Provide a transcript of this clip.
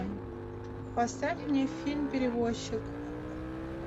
поставь мне фильм перевозчик